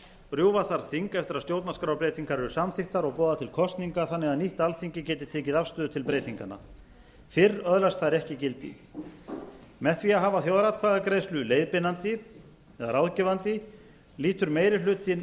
rjúfa þarf þing eftir að stjórnarskrárbreytingar eru samþykktar og boða til kosninga þannig að nýtt alþingi geti tekið afstöðu til breytinganna fyrr öðlast þær ekki gildi með því að hafa þjóðaratkvæðagreiðslu leiðbeinandi eða ráðgefandi lítur meiri hlutinn